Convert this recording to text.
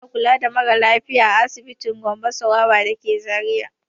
Ana kula da mara lafiya a asibitin Gambo Sawaba da ke Zariya.